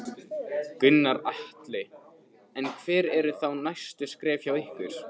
Gunnar Atli: En hver eru þá næstu skref hjá ykkur?